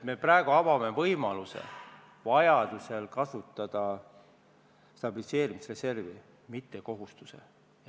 Me praegu avame võimaluse vajaduse korral stabiliseerimisreservi kasutada, mitte kohustuse.